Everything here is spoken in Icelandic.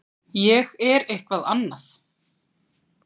Ég er eitthvað annað.